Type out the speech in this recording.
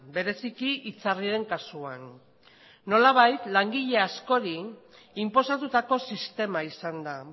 bereziki itzarriren kasuan nolabait langile askori inposatutako sistema izan da